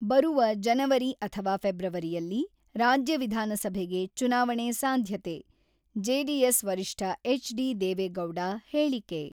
ಬರುವ ಜನವರಿ ಅಥವಾ ಫೆಬ್ರವರಿಯಲ್ಲಿ ರಾಜ್ಯ ವಿಧಾನಸಭೆಗೆ ಚುನಾವಣೆ ಸಾಧ್ಯತೆ-ಜೆಡಿಎಸ್ ವರಿಷ್ಠ ಎಚ್.ಡಿ.ದೇವೆಗೌಡ ಹೇಳಿಕೆ.